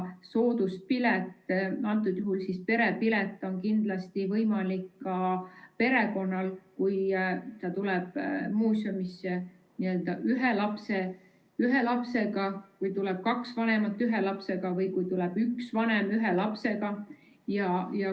Sooduspilet, antud juhul perepilet, on kindlasti võimalik ka perekonnal, kes tuleb muuseumisse ühe lapsega või kui tuleb kaks vanemat ühe lapsega või kui tuleb üks vanem ühe lapsega.